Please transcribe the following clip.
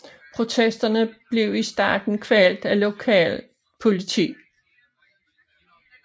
Protesterne blev i starten kvalt af lokalt politi